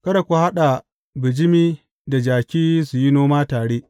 Kada ku haɗa bijimi da jaki su yi noma tare.